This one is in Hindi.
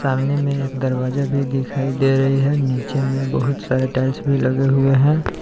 सामने में एक दरवाजा भी दिखाई दे रही है नीचे में बहुत सारे टाइल्स भी लगे हुए हैं।